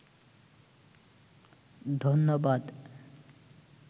ধন্যবাদ